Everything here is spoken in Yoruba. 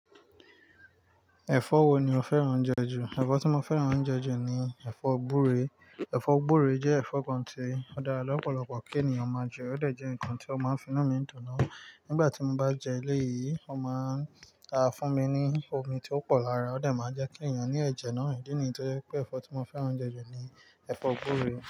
Ẹ̀fọ́ wo ni o fẹ́ràn oúnjẹ jù? Ẹ̀fọ́ tí mo fẹ́ràn oúnjẹ jù ni ẹ̀fọ́ gbúre. Ẹ̀fọ́ gbúre jẹ́ ẹ̀fọ́ kan tí ó dára lọ́pọ̀lọpọ̀ kí ènìyàn máa jẹ. Ó dà jẹ́ ǹkan tí ó máa ń finú mi dọ̀nù nígbà tí mo bá jẹ ilé yìí. Ó máa ń ta fún mi ní omi tí ó pọ̀ lára. Ó dà máa jẹ́ kí ẹ̀yàn ní ẹ̀jẹ̀ náà. Èyí nìyí tó jẹ́ pé ẹ̀fọ́ tí mo fẹ́ràn oúnjẹ jù ni ẹ̀fọ́ gbúre.